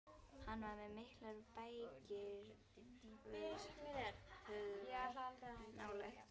Hann var með miklar bækistöðvar nálægt